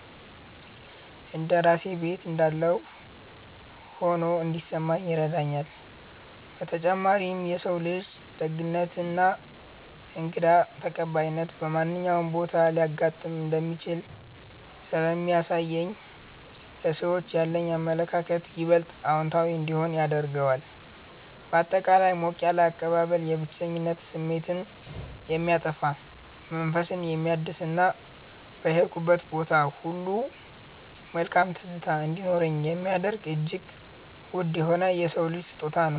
እንደ ራሴ ቤት እንዳለሁ ሆኖ እንዲሰማኝ ይረዳኛል። በተጨማሪም የሰው ልጅ ደግነትና እንግዳ ተቀባይነት በማንኛውም ቦታ ሊያጋጥም እንደሚችል ስለሚያሳየኝ ለሰዎች ያለኝ አመለካከት ይበልጥ አዎንታዊ እንዲሆን ያደርገዋል። ባጠቃላይ ሞቅ ያለ አቀባበል የብቸኝነት ስሜትን የሚያጠፋ፣ መንፈስን የሚያድስና በሄድኩበት ቦታ ሁሉ መልካም ትዝታ እንዲኖረኝ የሚያደርግ እጅግ ውድ የሆነ የሰው ልጅ ስጦታ ነው።